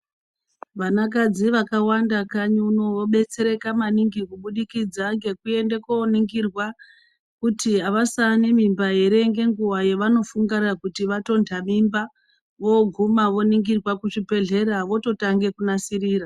Vana kadzi vakawanda kanyi uno vobetsereka maningi kubudikidza ngekuende koningirwa kuti avasaanemimba ere ngenguwa yavanofungira kuti vatonta mimba voguma vondoningirwa kuzvibhedhlera vototange kunasirira.